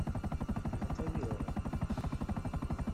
мотовилова